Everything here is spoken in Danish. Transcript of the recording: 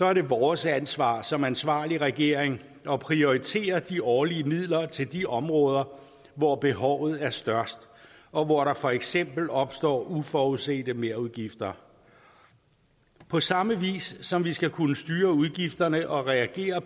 er det vores ansvar som ansvarlig regering at prioritere de årlige midler til de områder hvor behovet er størst og hvor der for eksempel opstår uforudsete merudgifter på samme vis som vi skal kunne styre udgifterne og reagere